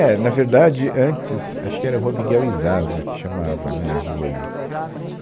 É. Na verdade, antes, acho que era Rua Miguel e Zaza, que chamava, né, a rua ali.